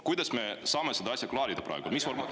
Kuidas me saame seda asja klaarida praegu?